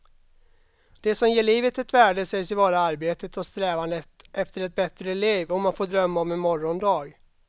Det som ger livet ett värde sägs ju vara arbetet och strävandet efter ett bättre liv, om att få drömma om en morgondag.